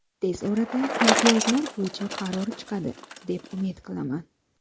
Tez orada imtiyozlar bo‘yicha qaror chiqadi, deb umid qilaman.